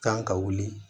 Kan ka wuli